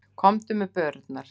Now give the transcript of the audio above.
Komdu með börurnar.